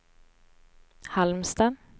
Halmstad